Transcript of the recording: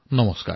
নমস্কাৰ